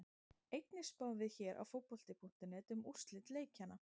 Einnig spáum við hér á Fótbolti.net um úrslit leikjanna.